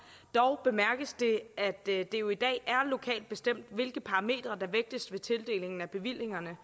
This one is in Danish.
dog bemærkes det at det jo i dag er lokalt bestemt hvilke parametre der vægtes ved tildelingen af bevillingerne